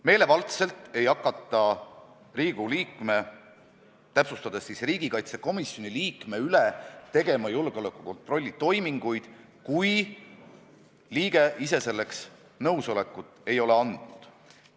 Meelevaldselt ei hakata Riigikogu liikme, täpsemalt riigikaitsekomisjoni liikme üle tegema julgeolekukontrolli toiminguid, kui liige ise selleks nõusolekut ei ole andnud.